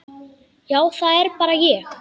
Já, það er bara ég.